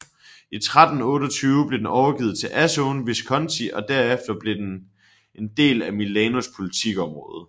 I 1328 blev den overgivet til Azzone Visconti og derefter blev den del af Milanos politikområde